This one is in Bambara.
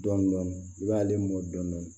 Dɔndɔni i b'ale mɔ dɔɔnin dɔɔnin